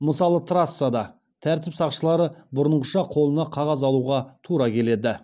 мысалы трассада тәртіп сақшылары бұрынғыша қолына қағаз алуға тура келеді